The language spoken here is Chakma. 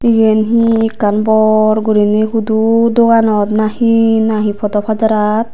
iyen hi ekkan bor guriney hudu doganot nahi nahi podow padarat.